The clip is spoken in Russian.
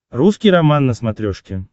русский роман на смотрешке